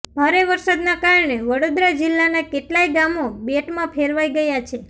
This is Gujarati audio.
ભારે વરસાદના કારણે વડોદરા જિલ્લાના કેટલાંય ગામો બેટમાં ફેરવાઇ ગયા છે